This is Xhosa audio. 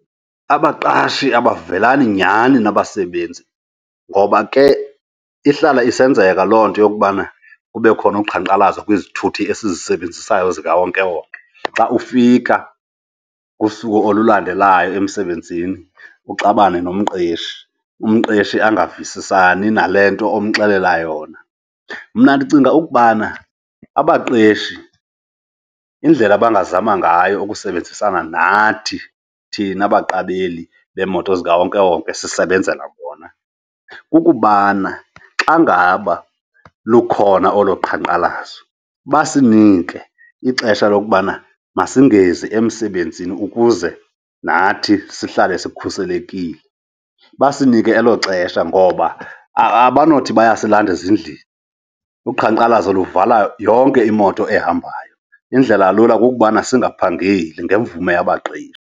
Abaqashi abavelani nyhani nabasebenzi ngoba ke ihlala isenzeka loo nto yokubana kube khona uqhankqalazo kwizithuthi esizisebenzisayo zikawonkewonke. Xa ufika ngosuku olulandelayo emsebenzini, uxabane nomqeshi. Umqeshi angavisisani nale nto omxelela yona. Mna ndicinga ukubana abaqeshi indlela abangazama ngayo ukusebenzisana nathi, thina baqabeli beemoto zikawonkewonke sisebenzela bona, kukubana xa ngaba lukhona olo qhankqalazo basinike ixesha lokubana masingezi emsebenzini ukuze nathi sihlale sikhuselekile. Basinike elo xesha ngoba abanothi bayasilathanda ezindlini, uqhankqalazo luvala yonke imoto ehambayo. Indlela lula kukubana singaphangeli ngemvume yabaqeshi.